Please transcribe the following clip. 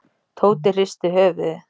Tóti hristi höfuðið.